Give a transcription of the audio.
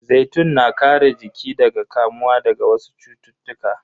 Zaitun na kare jiki daga kamuwa daga wasu cututtuka.